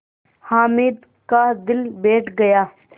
हामिद का दिल बैठ गया